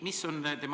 Mis see on?